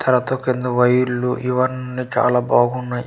తర్వాత కింద వైర్లు ఇవన్ని చాలా బాగున్నాయి.